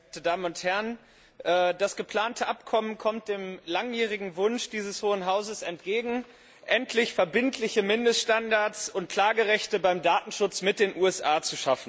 Herr Präsident, sehr geehrte Damen und Herren! Das geplante Abkommen kommt dem langjährigen Wunsch dieses hohen Hauses entgegen, endlich verbindliche Mindeststandards und Klagerechte beim Datenschutz mit den USA zu schaffen.